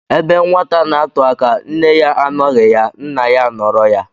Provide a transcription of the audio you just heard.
Ebe nwata n'atụ aka, nne ya anọghị ya, nna ya anoro ya.